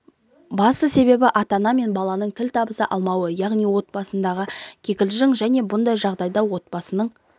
басты себебі ата-ана мен баланын тіл табыса алмауы яғни отбасындағы кикілжін және де бұндай жағдайлар отбасының